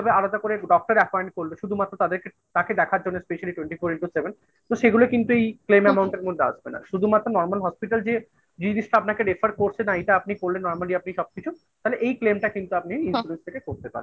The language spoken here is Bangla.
আলাদা করেdoctor appointment করলো শুধুমাত্র তাদেরকে তাকে দেখার জন্য specially twenty four into seven সেগুলো কিন্তু এই claim amount এর মধ্যে আসবে না, শুধুমাত্র normal hospital যে জিনিসটা আপনাকে refer করছে না এটা আপনি করলে normally আপনি সব কিছু তাহলে এই flame টা কিন্তু আপনি insurance থেকে করতে পারছেন।